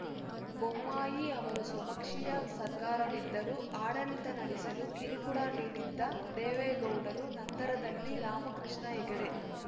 ಬೊಮ್ಮಾಯಿ ಅವರ ಸ್ವಪಕ್ಷೀಯ ಸರ್ಕಾರವಿದ್ದರೂ ಆಡಳಿತ ನಡೆಸಲು ಕಿರುಕುಳ ನೀಡಿದ್ದ ದೇವೇಗೌಡರು ನಂತರದಲ್ಲಿ ರಾಮಕೃಷ್ಣ ಹೆಗಡೆ